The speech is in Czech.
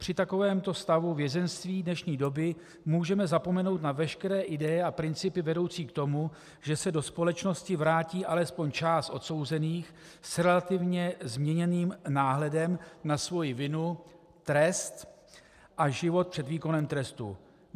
Při takovémto stavu vězeňství dnešní doby můžeme zapomenout na veškeré ideje a principy vedoucí k tomu, že se do společnosti vrátí alespoň část odsouzených s relativně změněným náhledem na svoji vinu, trest a život před výkonem trestu.